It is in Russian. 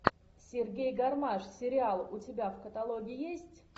сергей гармаш сериал у тебя в каталоге есть